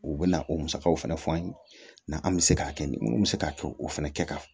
U bɛ na o musakaw fana fɔ an ye na an bɛ se k'a kɛ ni mun bɛ se k'a kɛ o fɛnɛ kɛ kan